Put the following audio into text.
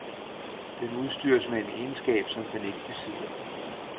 Den udstyres med en egenskab, som den ikke besidder.